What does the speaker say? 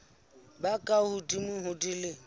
ba ka hodimo ho dilemo